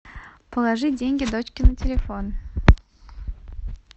положить деньги дочке на телефон